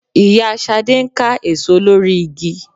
Ìyá Ṣadé ń ká èso lórí igi